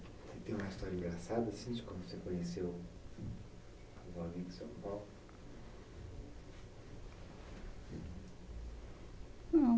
Você tem uma história engraçada, assim, de quando você conheceu um jovem que você amava?